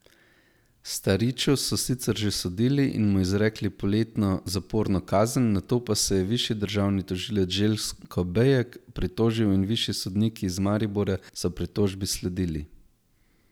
Stariču so sicer že sodili in mu izrekli poletno zaporno kazen, na to pa se je višji državni tožilec Željko Bejek pritožil in višji sodniki iz Maribora so pritožbi sledili.